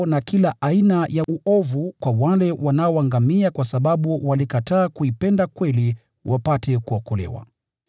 na kila aina ya uovu kwa wale wanaoangamia kwa sababu walikataa kuipenda kweli wapate kuokolewa.